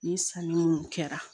Ni sanni minnu kɛra